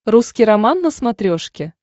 русский роман на смотрешке